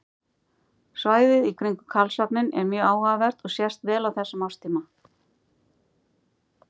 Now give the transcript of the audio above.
svæðið í kringum karlsvagninn er mjög áhugavert og sést vel á þessum árstíma